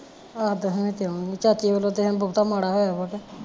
ਆਹੋ ਦਸਵੇ ਤੇ ਆਉਣਗੀਆ ਚਾਚੇ ਵੱਲੋਂ ਤੇ ਹੈ ਬਹੁਤਾ ਮਾਂਦਾ ਹੋਇਆ ਵਾ ਕਿ